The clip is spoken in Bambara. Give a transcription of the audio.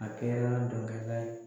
A kɛra dɔnkada ye.